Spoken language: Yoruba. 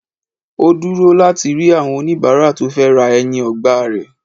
Ó dúró láti rí àwọn oníbàárà tó fẹ́ ra ẹyin ọgbà rẹ̀